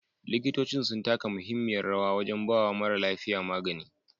Likitocin sun taka mahimmiyar rawa wajan bawa mara lafiya magani